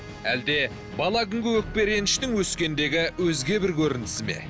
әлде бала күнгі өкпе реніштің өскендегі өзге бір көрінісі ме